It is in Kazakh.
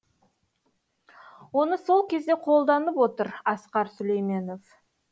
оны сол кезде қолданып отыр асқар сүлейменов